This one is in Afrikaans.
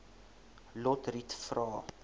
lotriet vra